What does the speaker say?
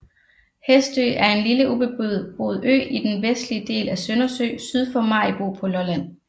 Hestø er en lille ubeboet ø i den vestlige del af Søndersø syd for Maribo på Lolland